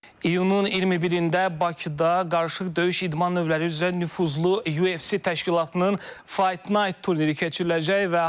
İyunun 21-də Bakıda qarışıq döyüş idman növləri üzrə nüfuzlu UFC təşkilatının Fight Night turniri keçiriləcək və hal-hazırda turnirin iştirakçılarının mətbuat konfransı keçirilir.